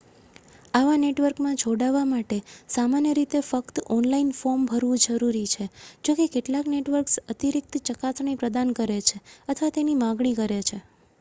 આવા નેટવર્કમાં જોડાવા માટે સામાન્ય રીતે ફક્ત ઓનલાઇન ફોર્મ ભરવું જરૂરી છે જોકે કેટલાક નેટવર્ક્સ અતિરિક્ત ચકાસણી પ્રદાન કરે છે અથવા તેની માગણી કરે છે